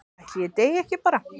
Ætli ég deyi ekki bara?